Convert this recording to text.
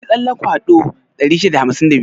Yi tsalle kwado 652.